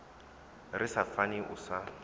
ri sa fani u sa